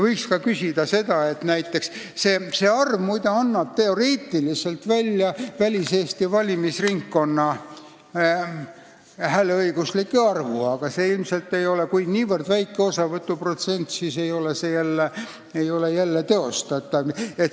See koguarv, muide, annab väliseesti valimisringkonna jaoks teoreetiliselt välja hääleõiguslike inimeste arvu, aga kui osavõtuprotsent on niivõrd väike, siis ei ole see jälle teostatav.